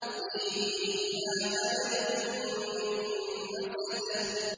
فِي جِيدِهَا حَبْلٌ مِّن مَّسَدٍ